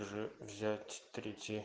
же взять третий